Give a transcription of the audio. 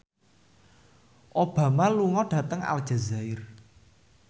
Obama lunga dhateng Aljazair